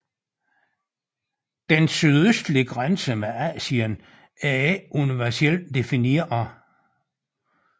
Den sydøstlige grænse med Asien er ikke universelt defineret